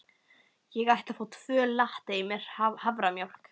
Ég ætla að fá tvo latte með haframjólk.